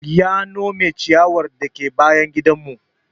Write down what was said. Ya nome ciyawar dake bayan gidan mu